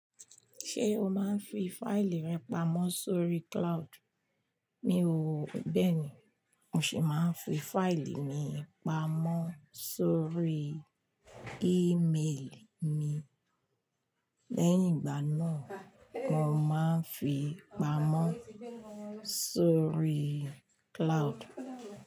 Ṣé o máa ń fi fáìlì rẹ pamọ́ sórí cloud? Mi ò bẹ́ẹ̀ ni, mo sì máa ń fi fáìlì mi pamọ́ sórí ímelì mi, lẹ́yìn ìgbà náà mo máa ń fi pamọ́ sórí cloud.